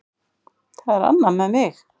Það er annað með mig.